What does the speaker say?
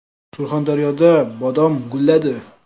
Surxondaryoda bodom gulladi .